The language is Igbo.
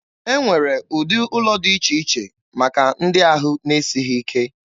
E nwere ụdị ụlọ dị iche iche maka ndị ahụ na-esighị ike.